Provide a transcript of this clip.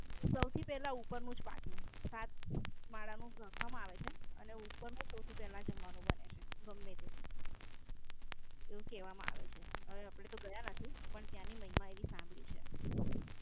સૌથી પેલા ઉપર નું જ પાકે સાથ માળા નું જખમ આવે છે અને ઉપર નું સૌથી પેલા જમવાનું બને છે એવું કહેવામાં આવે છે. હવે આપડે ગયા નથી પણ ત્યાંની મહિમા એવી સાંભળી છે.